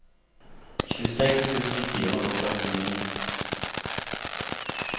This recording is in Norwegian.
tjueseks tusen fire hundre og førtini